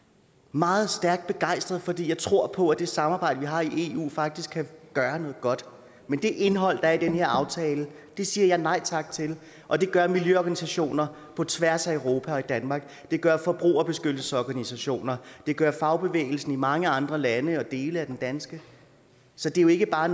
meget stærkt begejstret fordi jeg tror på at det samarbejde vi har i eu faktisk kan gøre noget godt men det indhold der er i den her aftale siger jeg nej tak til og det gør miljøorganisationer på tværs af europa og i danmark det gør forbrugerbeskyttelsesorganisationer og det gør fagbevægelsen i mange andre lande og i dele af den danske så det er jo ikke bare